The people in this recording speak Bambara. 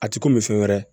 A ti komi fɛn wɛrɛ